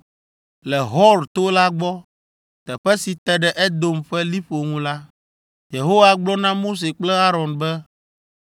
Le Hor to la gbɔ, teƒe si te ɖe Edom ƒe liƒo ŋu la, Yehowa gblɔ na Mose kple Aron be,